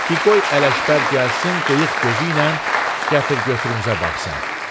Di qoy Ələkbər gəlsin qıyıq gözü ilə gətir-götürümüzə baxsın.